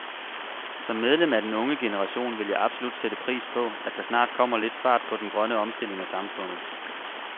Som medlem af den unge generation vil jeg absolut sætte pris på, at der snart kommer lidt fart på den grønne omstilling af samfundet.